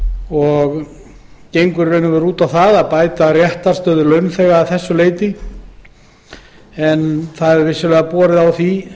og gengur út á að bæta réttarstöðu launþega að þessu leyti en vissulega hefur borið á því